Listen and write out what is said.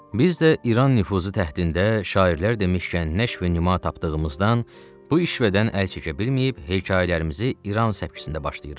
Biz də İran nüfuzu təhdidində şairlər demişkən nəş və nəma tapdığımızdan bu işədən əl çəkə bilməyib hekayələrimizi İran səpkisində başlayırıq.